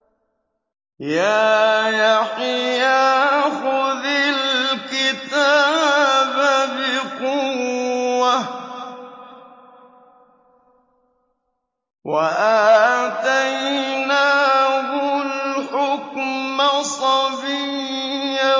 يَا يَحْيَىٰ خُذِ الْكِتَابَ بِقُوَّةٍ ۖ وَآتَيْنَاهُ الْحُكْمَ صَبِيًّا